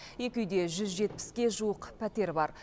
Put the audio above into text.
екі үйде жүз жетпіске жуық пәтер бар